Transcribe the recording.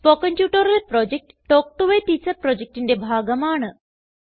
spoken tutorial project talk to a teacher പ്രൊജക്റ്റിന്റെ ഭാഗമാണ്